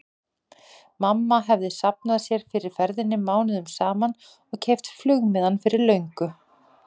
Mamma hefði safnað sér fyrir ferðinni mánuðum saman og keypt flugmiðann fyrir löngu.